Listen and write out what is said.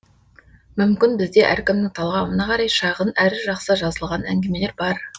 мүмкін бізде әркімнің талғамына қарай шағын әрі жақсы жазылған әңгімелер бар